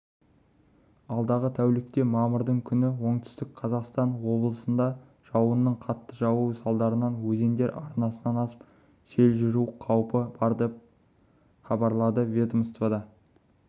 алдағы тәулікте мамырдың күні оңтүстік қазақстан облысында жауынның қатты жаууы салдарынан өзендер арнасынан асып сел жүру қаупі бар хабарлады ведомствода